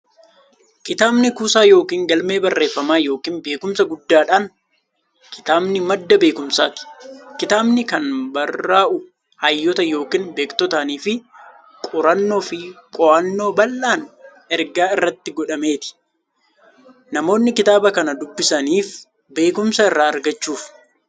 Kitaabni kuusaa yookiin galmee barreeffamaa yookiin beekumsaa guddaadhan. Kitaabni madda beekumsaati. Kitaabni kan barraa'u hayyoota yookiin beektotaanifi qorannoo fi qo'annoo bal'aan erga irratti godhameeti. Namoonnis kitaaba kan dubbisaniif beekumsa irraa argachuuf.